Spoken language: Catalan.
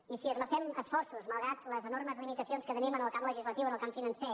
i si hi esmercem esforços malgrat les enormes limitacions que tenim en el camp legislatiu en el camp financer